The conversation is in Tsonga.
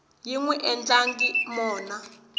yi n wi endlangi mona